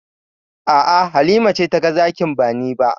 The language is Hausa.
A'a, Halima ce taga zakin ba ni ba.